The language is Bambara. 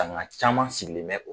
caman sigilen bɛ